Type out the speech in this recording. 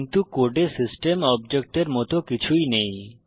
কিন্তু কোডে সিস্টেম অবজেক্টের মত কিছুই নেই